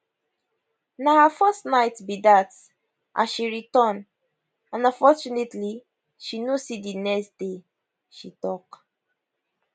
na her first night be dat as she return and unfortunately she no see di next day she tok